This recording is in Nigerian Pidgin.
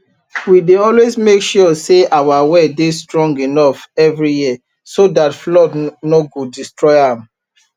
we dey always make sure say our well dey strong enough every year so dat flood nor go destroy am